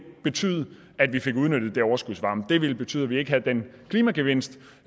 betyde at vi fik udnyttet den overskudsvarme det ville betyde at vi ikke havde den klimagevinst